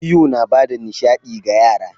Iyo yana ba da nishaɗi ga yara.